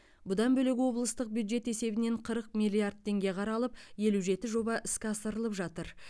бұдан бөлек облыстық бюджет есебінен қырық миллиард теңге қаралып елу жеті жоба іске асырылып жатыр